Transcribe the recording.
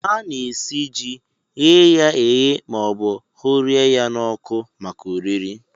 Ana-esi ji, ghee ya eghee maọbụ hụrịa ya n'ọkụ maka oriri